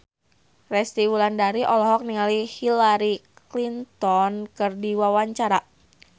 Resty Wulandari olohok ningali Hillary Clinton keur diwawancara